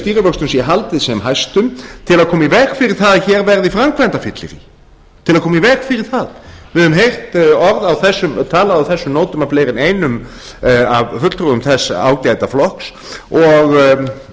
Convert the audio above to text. stýrivöxtum sé haldið sem hæstum til að koma í veg fyrir það að hér verði framkvæmdafyllirí til að koma í veg fyrir það við höfum heyrt orð töluð á þessum nótum af fleiri en einum af fulltrúum þess ágæta flokks og